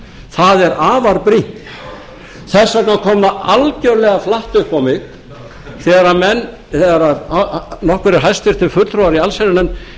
það er afar brýnt þess vegna kom það algjörlega flatt upp á mig þegar nokkrir hæstvirtur fulltrúar í allsherjarnefnd vildu stytta